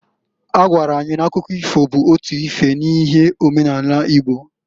Ọ gwara anyị na-akụkọ ifo bụ otu ife n'ihe omenani Igbo.